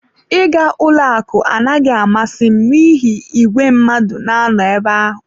Ịga ụlọ akụ anaghị amasị m n'ihi igwe mmadụ na-anọ ebe ahụ.